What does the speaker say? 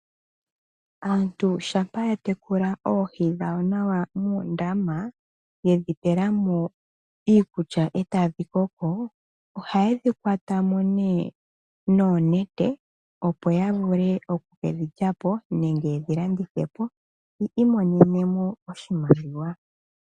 Aantu shampa ya tekula oohi dhawo nawa muundama yedhi pelamo iikulya etadhi koko hayedhi kwatamo noonete opo ya vule oku kedhi lyapo nenge yedhi landithepo yi imonene mo oshimaliwa.